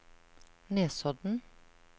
Nesodden